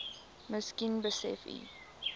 miskien besef u